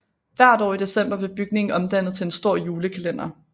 Hvert år i december blev bygningen omdannet til en stor julekalender